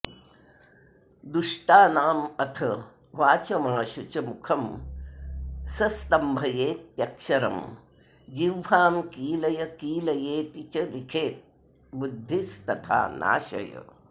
दुष्टानामथ वाचमाशु च मुखं सस्तम्भयेत्यक्षरं जिह्वां कीलय कीलयेति च लिखेद्बुद्धि तथा नाशय